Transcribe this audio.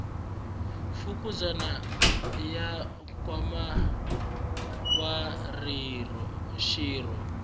fukuzana ya nkwama wa xirho